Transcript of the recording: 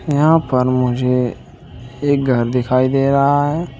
यहां पर मुझे एक घर दिखाई दे रहा है।